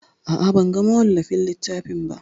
A'a, ban ga mawallafin littafin ba.